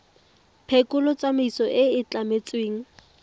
phekolo tsamaiso e e tlametsweng